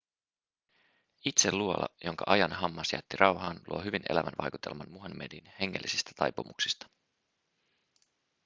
itse luola jonka ajan hammas jätti rauhaan luo hyvin elävän vaikutelman muhammedin hengellisistä taipumuksista